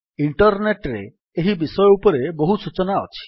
internet ରେ ଏହି ବିଷୟ ଉପରେ ବହୁ ସୂଚନା ଅଛି